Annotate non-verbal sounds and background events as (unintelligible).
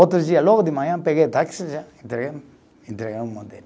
Outro dia, logo de manhã, peguei o táxi já (unintelligible) entregamos o modelo